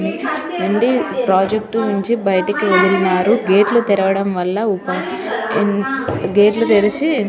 ఇక్కడ చాల మంది ప్రాజెక్ట్ కోసం బయటకు పోయిన్రు --